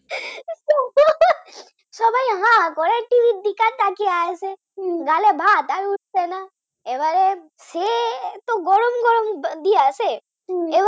সবাই হা করে t. v র দিকে তাকিয়ে আছে গালে ভাত আর উঠছে না তো এত গরম গরম দিয়েছে